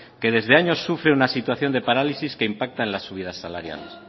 que desde años sufre una situación de parálisis que impacta en las subidas salariales